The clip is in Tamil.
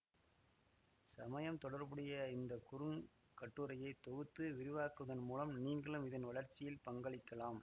சமயம் தொடர்புடைய இந்த குறுங்கட்டுரையை தொகுத்து விரிவாக்குவதன் மூலம் நீங்களும் இதன் வளர்ச்சியில் பங்களிக்கலாம்